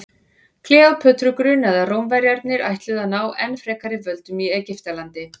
kleópötru grunaði að rómverjarnir ætluðu að ná enn frekari völdum í egyptalandi